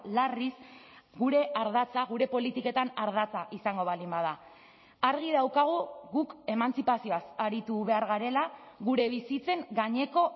larriz gure ardatza gure politiketan ardatza izango baldin bada argi daukagu guk emantzipazioaz aritu behar garela gure bizitzen gaineko